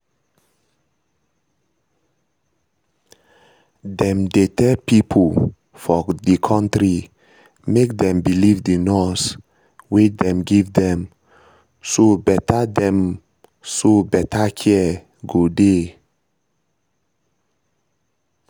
them dey tell pipo for the country make them believe the nurse wey dem give dem so better dem so better care go dey